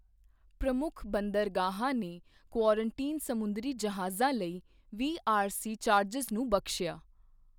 ਪ੍ਰਮੁੱਖ ਬੰਦਰਗਾਹਾਂ ਨੇ ਕੁਆਰੰਟੀਨ ਸਮੁੰਦਰੀ ਜਹਾਜ਼ਾਂ ਲਈ ਵੀਆਰਸੀ ਚਾਰਜਜ਼ ਨੂੰ ਬਖਸ਼ਿਆ।